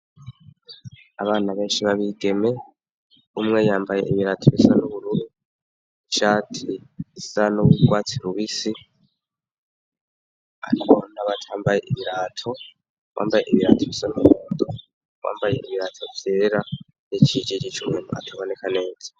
Abana benshi babigeme umwe yambaye ibirato bisa n'ubururu cati isan'uwugwatsi lubisi, ariko nabatambaye ibirato wambaye ibirato bisa n'umumunto wambaye ibirato vyerera n'icijirice umuntu ataboneka neza.